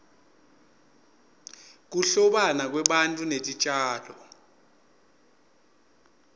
kuhlobana kwebantfu netitjalo